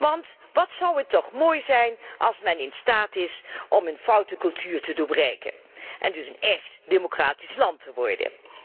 Want wat zou het toch mooi zijn als men in staat is om een foute cultuur te doorbreken en dus een echt democratisch land te worden.